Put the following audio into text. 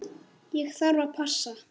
Ég þarf að passa.